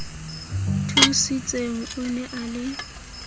thusitseng o ne a le